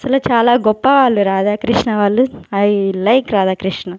చాలా చాలా గొప్ప వాళ్ళు రాధాకృష్ణ వాళ్ళు ఐ లైక్ రాధాకృష్ణ.